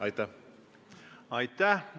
Aitäh!